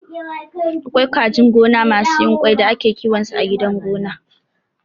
Akwai kajin gona masu yin ƙwai da ake kiwon su a gidan gona